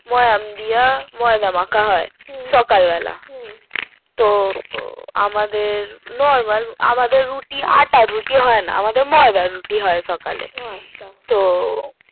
ময়াম দিয়া ময়দা মাখা হয় সকাল বেলা তো আমারদের normal আমাদের রুটি আটার রুটি হয় না আমাদের ময়দার রুটি হয় সকালে